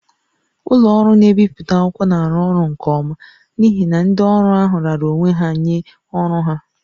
Ụlọ ọrụ na-ebipụta akwụkwọ na-arụ ọrụ nke ọma n'ihi na ndị ọrụ ahụ raara onwe ha nye ọrụ ha